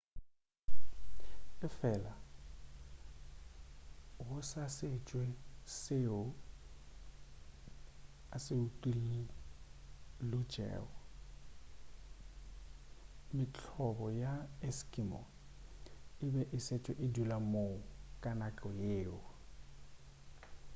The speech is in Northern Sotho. efela go sa šetšwe seo a se utullotšego mehlobo ya ma-eskimo e be e šetše e dula moo ka nako yeo